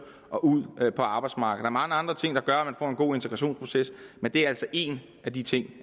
og ud på arbejdsmarkedet mange andre ting der gør at en god integrationsproces men det er altså en af de ting